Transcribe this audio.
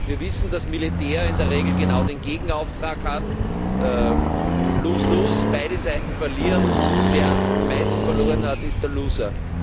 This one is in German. Wir wissen, dass Militär in der Regel genau den Gegenauftrag hat, lose lose beide Seiten verlieren, wer am meisten verloren hat, ist der Loser.